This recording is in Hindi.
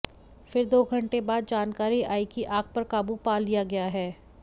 फिर दो घंटे बाद जानकारी आई कि आग पर काबू पा लिया गया है